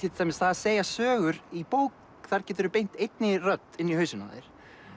að segja sögur í bók þar geturðu beint einni rödd inn í hausinn á þér